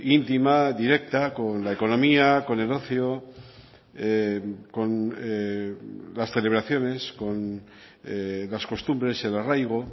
íntima directa con la economía con el ocio con las celebraciones con las costumbres el arraigo